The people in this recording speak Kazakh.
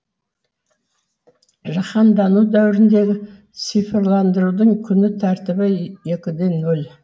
жаһандану дәуіріндегі цифрландырудың күн тәртібі екіде ноль